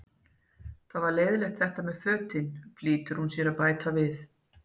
Það var leiðinlegt þetta með fötin, flýtir hún sér að bæta við.